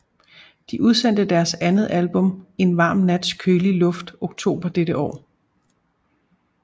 De udsendte deres andet album En varm nats kølige luft oktober dette år